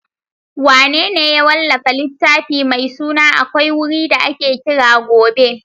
Wanene ya wallafa littafin mai suna AKWAI WURI DA AKE KIRA GOBE?